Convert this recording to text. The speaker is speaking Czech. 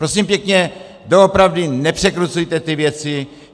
Prosím pěkně, doopravdy nepřekrucujte ty věci.